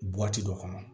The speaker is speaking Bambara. dɔ kɔnɔ